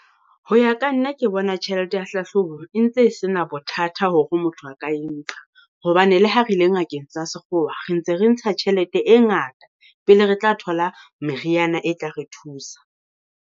Ho ya ka nna ke bona tjhelete ya hlahloba e ntse se na bothata hore motho a ka e nka, hobane le ha re ile ngakeng tsa sekgowa, re ntse re ntsha tjhelete e ngata pele re tla thola meriana e tla re thusa.